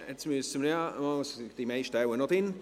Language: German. Die meisten sind wohl noch hier.